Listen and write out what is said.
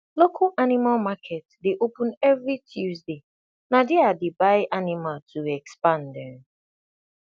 local animal market dey open every tuesday na there i dey buy animal to expand um